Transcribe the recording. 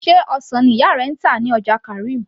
sé ọsàn ni ìyá rẹ ń tà ní ọjà karim